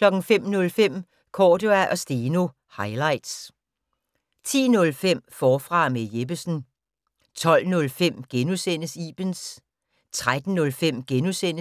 05:05: Cordua & Steno - highlights 10:05: Forfra med Jeppesen 12:05: Ibens * 13:05: